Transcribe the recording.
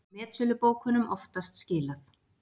Metsölubókunum oftast skilað